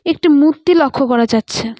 একটি মূর্তি লক্ষ করা যাচ্ছে।